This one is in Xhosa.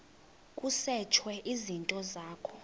kusetshwe izinto zakho